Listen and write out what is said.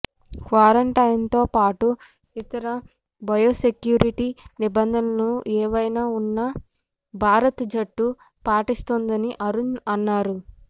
క్వారంటైన్తో పాటు ఇతర బయోసెక్యూరిటి నిబంధనలు ఏమైనా ఉన్నా భారత జట్టు పాటిస్తుందని అరుణ్ అన్నాడు